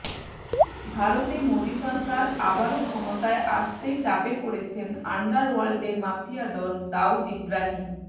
ভারতে মোদি সরকার আবারও ক্ষমতায় আসতেই চাপে পড়েছেন আন্ডারওয়ার্ল্ডের মাফিয়া ডন দাউদ ইব্রাহিম